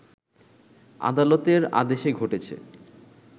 আদালতের আদেশে ঘটেছে